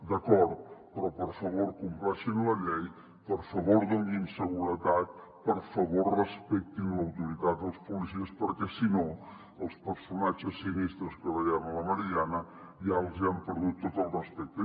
d’acord però per favor compleixin la llei per favor donin seguretat per favor respectin l’autoritat dels policies perquè si no els personatges sinistres que veiem a la meridiana ja els hi han perdut tot el respecte